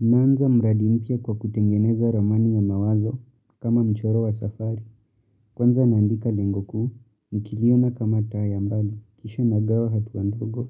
Naanza mradi mpya kwa kutengeneza ramani ya mawazo, kama mchoro wa safari. Kwanza naandika lengo kuu, nikiiona kama taa ya mbali. Kisha nagawa hatua ndogo,